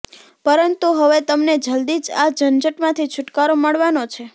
પરંતુ હવે તમને જલદી જ આ ઝઝંટમાંથી છુટકારો મળવાનો છે